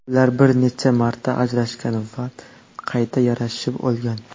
Ular bir necha marta ajrashgan va qayta yarashib olgan.